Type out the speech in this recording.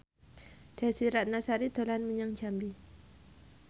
Desy Ratnasari dolan menyang Jambi